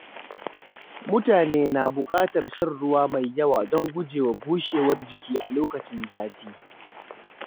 Mutane na bukatar shan ruwa mai yawa don gujewa bushewar jiki a lokacin zafi.